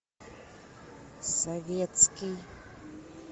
советский